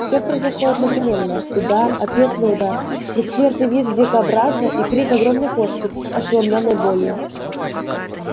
всё произошло одновременно удар ответный удар предсмертный визг дикобраза и крик огромной кошки ошеломлённой болью